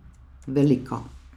Velika.